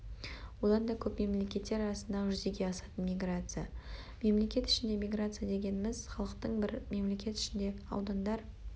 оданда көп мемлекеттер арасындағы жүзеге асатын миграция мемлекет ішіндегі миграция дегеніміз-халықтың бір мемлекет ішінде аудандар